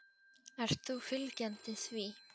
Ert þú fylgjandi því?